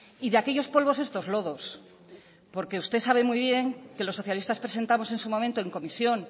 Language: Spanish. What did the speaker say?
y de aquellos polvos estos lodos porque usted sabe muy bien que los socialistas presentamos en su momento en comisión